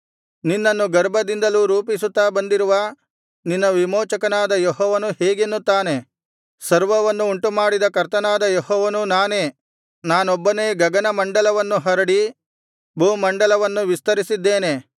ನಿನ್ನನ್ನು ಗರ್ಭದಿಂದಲೂ ರೂಪಿಸುತ್ತಾ ಬಂದಿರುವ ನಿನ್ನ ವಿಮೋಚಕನಾದ ಯೆಹೋವನು ಹೀಗೆನ್ನುತ್ತಾನೆ ಸರ್ವವನ್ನು ಉಂಟುಮಾಡಿದ ಕರ್ತನಾದ ಯೆಹೋವನು ನಾನೇ ನಾನೊಬ್ಬನೇ ಗಗನಮಂಡಲವನ್ನು ಹರಡಿ ಭೂಮಂಡಲವನ್ನು ವಿಸ್ತರಿಸಿದ್ದೇನೆ